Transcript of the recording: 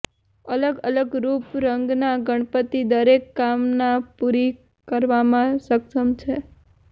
અલગ અલગ રૂપ રંગના ગણપતિ દરેક કામના પૂરી કરવામાં સક્ષમ છે